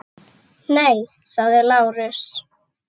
Nei, sagði Lárus.